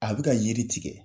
A bɛ ka yiri tigɛ